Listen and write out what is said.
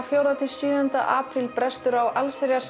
fjórða til sjöunda apríl brestur á allsherjar